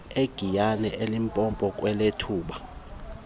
egiyani elimpopo kweyethupha